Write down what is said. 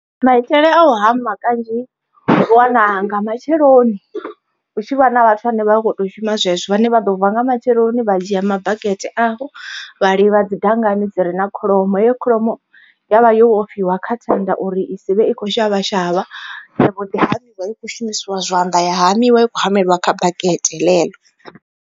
Maitele a u hama kanzhi u wana nga matsheloni, hu tshi vha na vhathu vhane vha vha kho to shuma zwezwo vhane vha ḓo vuwa nga matsheloni vha dzhia mabakete avho vha livha dzi dangani dzi re na kholomo. Heyo kholomo ya vha yo vhofhiwa kha thanda uri i si vhe i kho shavha shavha ya mbo ḓi hamiwa i kho shumisiwa zwanḓa ya hamiwa i kho hameliwa kha bakete ḽeḽo.